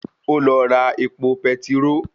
Ó lọ ra epo petiró